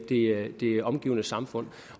omgivende samfund